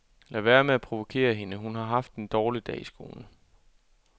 Lad være med at provokere hende, hun har haft en dårlig dag i skolen.